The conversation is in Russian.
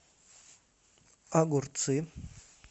огурцы